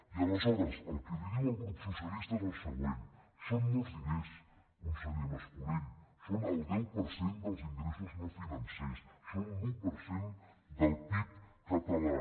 i aleshores el que li diu el grup socialista és el següent són molts diners con·seller mas·colell són el deu per cent dels ingressos no financers són l’un per cent del pib català